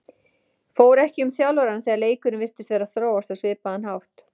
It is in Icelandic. Fór ekki um þjálfarann þegar leikurinn virtist vera að þróast á svipaðan hátt?